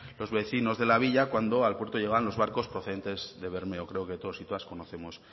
los vecinos de la villa cuando al puerto llegaban los barcos procedentes de bermeo creo que todos y todas conocemos